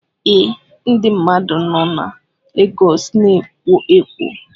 Ee, ndị mmadụ nọ na Legọs na-ekwo ekwo